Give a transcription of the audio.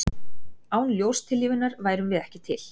Án ljóstillífunar værum við ekki til.